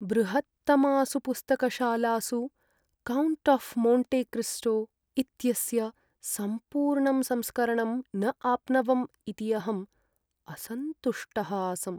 बृहत्तमासु पुस्तकशालासु "count of Monte Cristo" इत्यस्य सम्पूर्णं संस्करणं न आप्नवम् इति अहम् असन्तुष्टः आसम्।